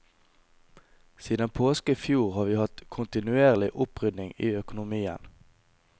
Siden påske i fjor har vi hatt kontinuerlig opprydning i økonomien.